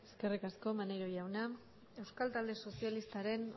eskerrik asko maneiro jaunak euskal talde socialistaren